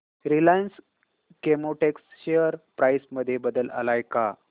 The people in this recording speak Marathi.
रिलायन्स केमोटेक्स शेअर प्राइस मध्ये बदल आलाय का